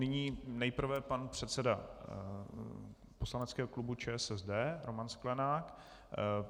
Nyní nejprve pan předseda poslaneckého klubu ČSSD Roman Sklenák.